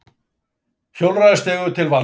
Hjólreiðastígur til vansa